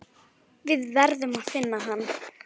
Við verðum að finna hann.